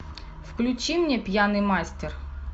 включи мне пьяный мастер